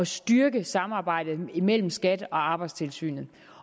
styrke samarbejdet imellem skat og arbejdstilsynet